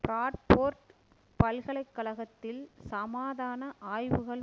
Bradford பல்கலை கழகத்தில் சமாதான ஆய்வுகள்